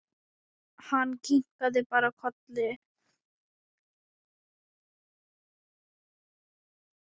Hann kinkaði bara kolli.